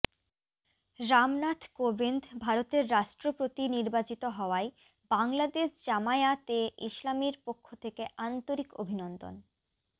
রামনাথ কোবিন্দ ভারতের রাষ্ট্রপতি নির্বাচিত হওয়ায় বাংলাদেশ জামায়াতে ইসলামীর পক্ষ থেকে আন্তরিক অভিনন্দন